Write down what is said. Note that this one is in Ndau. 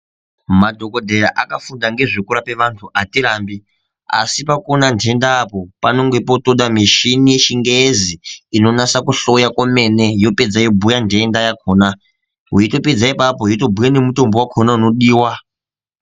Madhokodheya akafunda ngezvekurapa vanthu atirambi, asi pakuona nhenda panenge potoda mishini yechingezi inonasa kuhloya kwemene yapedza yotobhuya nhenda, weitopedza ipapo yotobhuya nemitombo yakhona inodiwa.